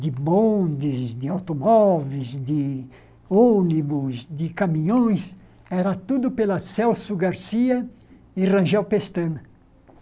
de bondes, de automóveis, de ônibus, de caminhões, era tudo pela Celso Garcia e Rangel Pestana.